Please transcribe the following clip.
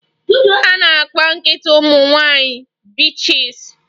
A na-akpọ nkịta ụmụ nwanyị bitches